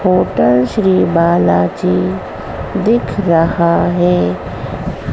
Hotel Shri Balaji दिख रहा है।